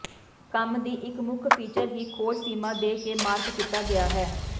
ਕੰਮ ਦੀ ਇੱਕ ਮੁੱਖ ਫੀਚਰ ਹੀ ਖੋਜ ਸੀਮਾ ਦੇ ਕੇ ਮਾਰਕ ਕੀਤਾ ਗਿਆ ਹੈ